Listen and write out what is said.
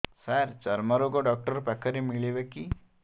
ସାର ଚର୍ମରୋଗ ଡକ୍ଟର ପାଖରେ ମିଳିବେ କି